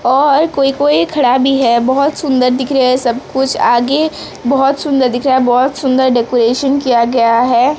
और कोई कोई खड़ा भी है बहुत सुंदर दिख रहे हैं सब कुछ आगे बहुत सुंदर दिख रहा है बहुत सुंदर डेकोरेशन किया गया है।